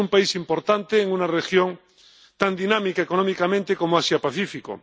Es un país importante en una región tan dinámica económicamente como Asia y el Pacífico.